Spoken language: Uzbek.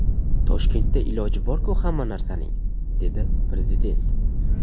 Toshkentda iloji bor-ku hamma narsaning”, dedi Prezident.